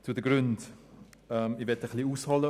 Zu den Gründen: Ich möchte ein wenig ausholen.